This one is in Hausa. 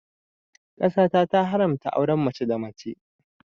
Ƙasa ta ta haramta auren mace da mace